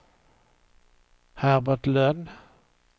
Herbert Lönn